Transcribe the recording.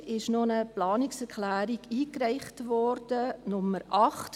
Gestern wurde eine weitere Planungserklärung eingereicht, Nummer 8.